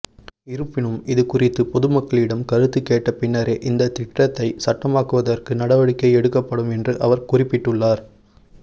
இருப்பினும் இதுகுறித்து பொதுமக்களிடம் கருத்துக் கேட்ட பின்னரே இந்த திட்டத்தை சட்டமாக்குவதற்கு நடவடிக்கை எடுக்கப்படும் என்று அவர் குறிப்பிட்டுள்ளார்